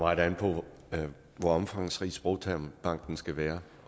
meget an på hvor omfangsrig sprogtermbanken skal være